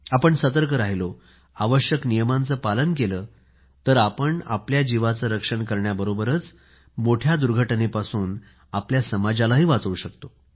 आपण सतर्क राहिलो आवश्यक नियमांचे पालन केलं तर आपण आपल्या जीवाचे रक्षण करण्याबरोबरच मोठ्या दुर्घटनेपासून आपल्या समाजालाही वाचवू शकतो